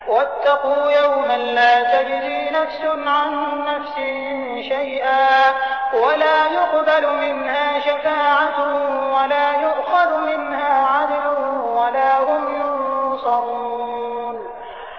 وَاتَّقُوا يَوْمًا لَّا تَجْزِي نَفْسٌ عَن نَّفْسٍ شَيْئًا وَلَا يُقْبَلُ مِنْهَا شَفَاعَةٌ وَلَا يُؤْخَذُ مِنْهَا عَدْلٌ وَلَا هُمْ يُنصَرُونَ